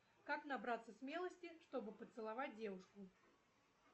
как набраться смелости чтобы поцеловать девушку